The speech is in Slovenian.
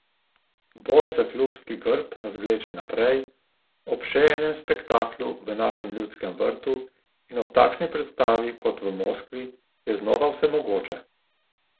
Boj za klubski grb nas vleče naprej, ob še enem spektaklu v našem Ljudskem vrtu in ob takšni predstavi kot v Moskvi je znova vse mogoče.